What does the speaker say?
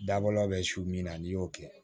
Dabɔla bɛ su min na n'i y'o kɛ